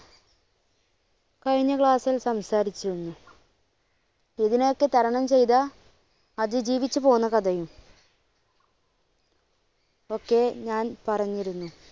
കഴിഞ്ഞ class ൽ സംസാരിച്ചിരുന്നു. ഇതിനെയൊക്കെ തരണം ചെയ്ത അതിജീവിച്ച് പോന്ന കഥയും ഒക്കെ ഞാൻ പറഞ്ഞിരുന്നു.